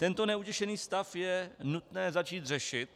Tento neutěšený stav je nutné začít řešit.